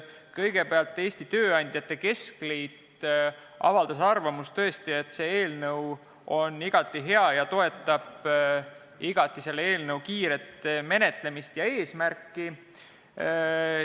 Kõigepealt avaldas Eesti Tööandjate Keskliit arvamust, et see eelnõu on igati hea, ning toetas selle kiiret menetlemist ja eesmärki.